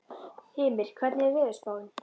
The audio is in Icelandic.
Hymir, hvernig er veðurspáin?